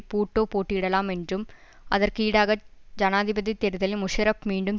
பூட்டோ போட்டியிடலாம் என்றும் அதற்கு ஈடாக ஜனாதிபதி தேர்தலில் முஷரப் மீண்டும்